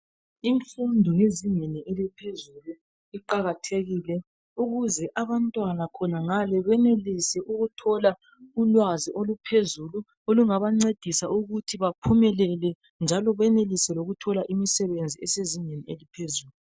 Imfundo yezingeni eliphezulu iqakathekile ukuze abantwana khonangale benelise ukuthola ulwazi oluphezulu olungabancedisa ukuthi baphumelele njalo benelise lokuthola imisebenzi esezingeni eliphezulu